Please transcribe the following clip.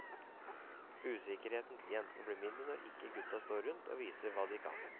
Usikkerheten til jentene blir mindre når ikke gutta står rundt og viser hva de kan.